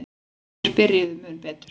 Þeir byrjuðu mun betur.